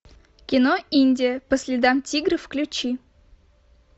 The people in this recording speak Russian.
кино индия по следам тигра включи